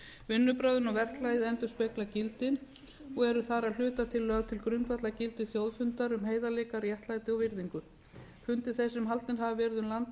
vinnubrögðin og verklagið endurspegla gildin og eru þar að hluta til lögð til grundvallar gildi þjóðfundar um heiðarleika réttlæti og virðingu fundir þeir sem haldnir hafa verið um land allt